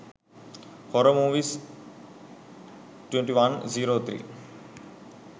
horror movies 2103